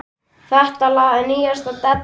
Þetta lag er nýjasta dellan.